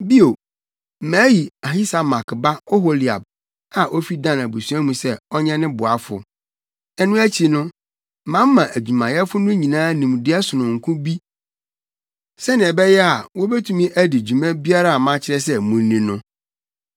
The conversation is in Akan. Bio, mayi Ahisamak ba Oholiab a ofi Dan abusua mu sɛ ɔnyɛ ne boafo. “Ɛno akyi no, mama adwumayɛfo no nyinaa nimdeɛ sononko bi sɛnea ɛbɛyɛ a, wobetumi adi dwuma biara a makyerɛ sɛ munni no: